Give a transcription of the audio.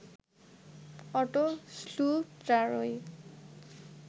auto শ্লুটারই